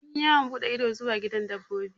Mun yi yawon buɗe ido zuwa gidan dabbobi.